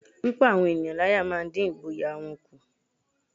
Pípá àwọn ènìyàn láyá máa ń dín ìgboyà wọn kù